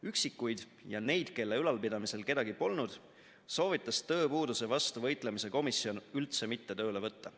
Üksikuid ja neid, kelle ülalpidamisel kedagi polnud, soovitas tööpuuduse vastu võitlemise komisjon üldse mitte tööle võtta.